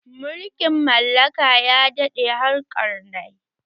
Mulkin mallaka ya daɗe har ƙarnai